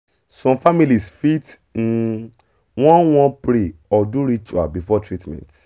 some families fit um wan wan pray or do ritual before treatment